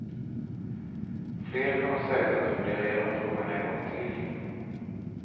Fler kommer säkert att fundera igenom frågan en gång till.